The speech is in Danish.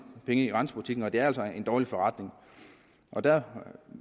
penge i grænsebutikkerne og det er altså en dårlig forretning der